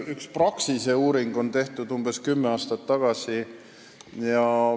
Üks Praxise uuring on tehtud umbes kümme aastat tagasi.